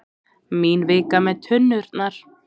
Mín vika með tunnurnar.